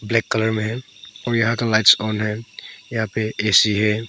Black colour मे है और यहां का लाइट्स ऑन है और यहां पे ए_सी है।